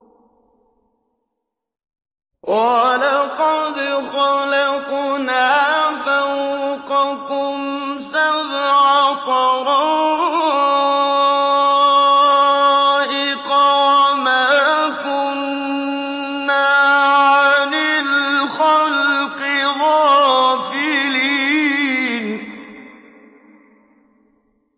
وَلَقَدْ خَلَقْنَا فَوْقَكُمْ سَبْعَ طَرَائِقَ وَمَا كُنَّا عَنِ الْخَلْقِ غَافِلِينَ